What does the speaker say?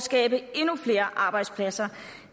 skabe endnu flere arbejdspladser